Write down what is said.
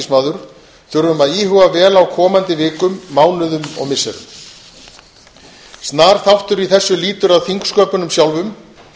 alþingismaður þurfum að íhuga vel á komandi vikum mánuðum og missirum snar þáttur í þessu lýtur að þingsköpunum sjálfum